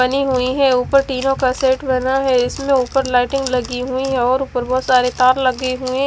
बनी हुई है उपर तीनो का सेट बना है इसमें उपर लाइटिंग लगी हुई है और उपर बहोत सारे तार लगे हुए--